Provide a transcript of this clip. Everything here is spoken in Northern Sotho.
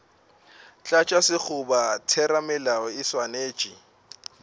tlatša sekgoba theramelao e swanetše